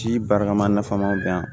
Ji baarakɛma nafama bɛn